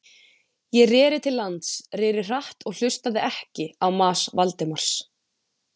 Ég reri til lands, reri hratt og hlustaði ekki á mas Valdimars.